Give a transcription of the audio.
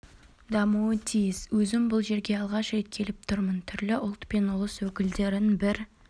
дамуы тиіс өзім бұл жерге алғаш рет келіп тұрмын түрлі ұлт пен ұлыс өкілдерін бір